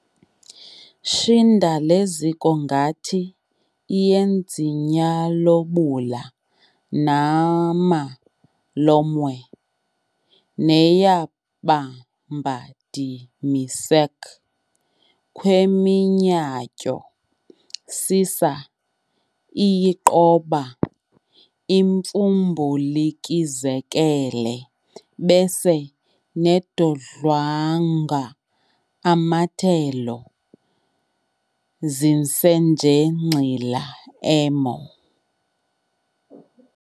Shinda leziko ngathi iYenzinyalobula, nama lomwe neYaBambadimisek'khweminyatyo sasa iYiqoba imfumbulikizekele bese nedodlwanga amatelo zinsenjengxila emo